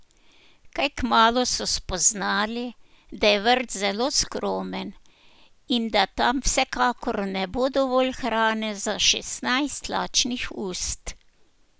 Kaj kmalu so spoznali, da je vrt zelo skromen in da tam vsekakor ne bo dovolj hrane za šestnajst lačnih ust.